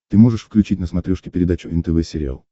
ты можешь включить на смотрешке передачу нтв сериал